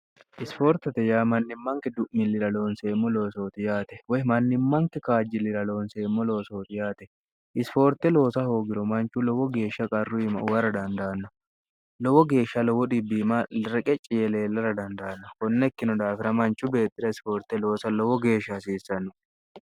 isifoortote yaa mannimmanki du'millira loonseemmo loosooti yaate woy mannimmanki kaajji lira loonseemmo loo sooti yaate isifoorte loosa hoogiro manchu lowo geeshsha qarru ima uwara dandaanno lowo geeshsha lowo dbim reqe ciye leellara dandaanno konnekkino daafira manchu beetxira isifoorte loosa lowo geeshsha hasiissanno